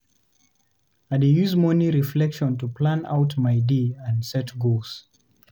I dey use morning reflection to plan out my day and set goals.